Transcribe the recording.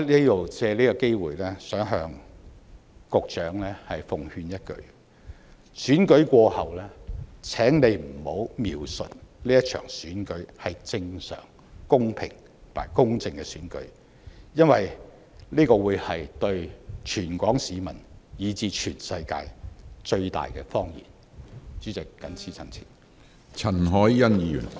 我藉此機會奉勸局長一句：選舉過後，請不要描述這場選舉是正常、公平和公正的選舉，因為這對全港市民以至全世界來說是最大的謊言。